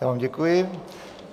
Já vám děkuji.